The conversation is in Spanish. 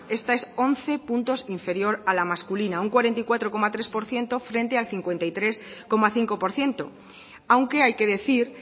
esta es once puntos inferior a la masculina un cuarenta y cuatro coma tres por ciento frente al cincuenta y tres coma cinco por ciento aunque hay que decir